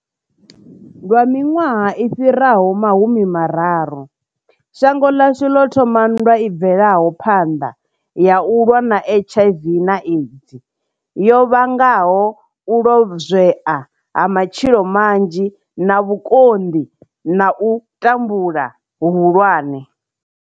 Lwa miṅwaha i fhiraho ma humi mararu, shango ḽashu ḽo thoma nndwa i bvelaho phanḓa ya u lwa na HIV na AIDS, yo vhangaho u lozwea ha matshilo manzhi na vhukonḓi na u tambula huhulwane.